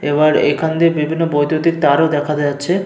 এবার এখান দিয়ে বিভিন্ন বৈদ্যুতিক তার ও দেখা যাচ্ছে।